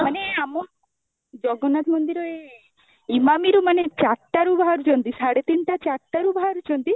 ମାନେ ଆମ ଜଗନ୍ନାଥ ମନ୍ଦିର ଇମାମି ରୁ ମାନେ ଚାରଟା ରୁ ବାହାରୁଛନ୍ତି ସାଢେ ତିନଟା ଚାରଟା ରୁ ବାହାରୁଛନ୍ତି